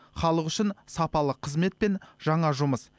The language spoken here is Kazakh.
халық үшін сапалы қызмет пен жаңа жұмыс